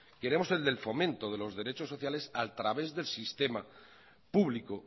queremos el del fomento de los derechos sociales a través del sistema público